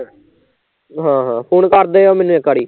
ਹਾਂ ਹਾਂ ਫੂਨ ਕਰਦੀਓ ਮੈਨੂੰ ਇੱਕ ਵਾਰੀ